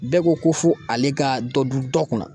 Bɛɛ ko ko fo ale ka dɔ dun dɔ kunna